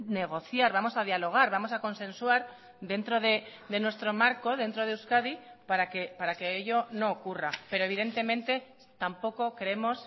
negociar vamos a dialogar vamos a consensuar dentro de nuestro marco dentro de euskadi para que ello no ocurra pero evidentemente tampoco creemos